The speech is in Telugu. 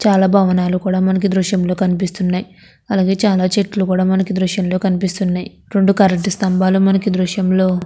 చాలా భవనాలు మనకి దృశ్యంలో కనిపిస్తున్నాయి అలాగే చాలా చెట్లు కూడా మనకి కనిపిస్తున్నాయి రొండు కరెంటు స్థంబాలు మనకి దృశ్యంలో--